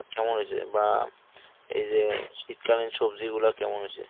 কেমন হয়েছে ? বা এই যে শীতকালীন সবজি গুলা কেমন হয়েছে ?